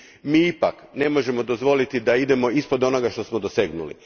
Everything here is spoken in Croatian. mi ipak ne možemo dozvoliti da idemo ispod onoga što smo dosegnuli.